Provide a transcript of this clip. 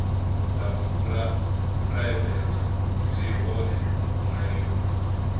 dza phuraivete zwi hone mulayoni